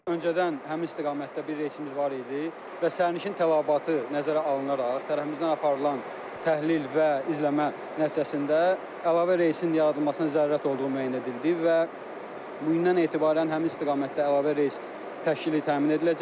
Öncədən həmin istiqamətdə bir reysimiz var idi və sərnişin tələbatı nəzərə alınaraq tərəfimizdən aparılan təhlil və izləmə nəticəsində əlavə reysin yaradılmasına zərurət olduğu müəyyən edildi və bu gündən etibarən həmin istiqamətdə əlavə reys təşkili təmin ediləcək.